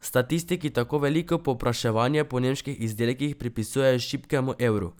Statistiki tako veliko povpraševanje po nemških izdelkih pripisujejo šibkemu evru.